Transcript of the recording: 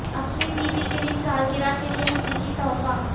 اپنی بیوی کے لئے سالگرہ کے لئے حقیقی تحفہ